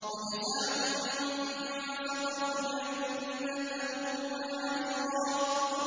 وَجَزَاهُم بِمَا صَبَرُوا جَنَّةً وَحَرِيرًا